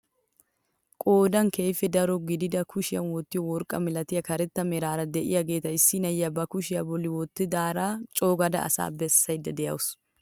Qoodan keehippe daro gidida kushiyaan wottiyoo worqqaa milatiyaa karetta meraara de'iyaageta issi na'iyaa ba kushiyaa bolli wottidaara coogada asaa bessayda de'awus.